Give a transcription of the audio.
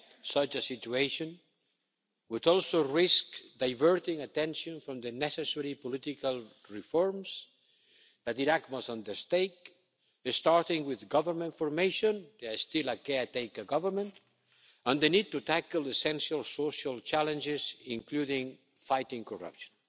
Such a situation would also risk diverting attention from the necessary political reforms that Iraq must undertake, starting with government formation there is still a caretaker government and the need to tackle essential social challenges, including fighting corruption.